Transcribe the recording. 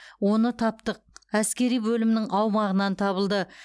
оны таптық әскери бөлімнің аумағынан табылды